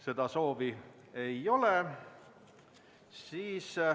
Seda soovi ei ole.